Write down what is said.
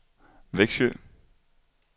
Växjö